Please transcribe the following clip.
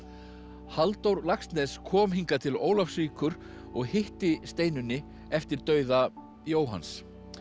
Halldór Laxness kom hingað til Ólafsvíkur og hitti Steinunni eftir dauða Jóhanns